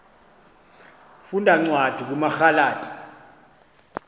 funda cwadi kumagalati